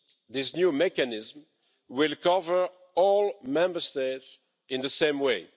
This new mechanism will cover all Member States in the same way.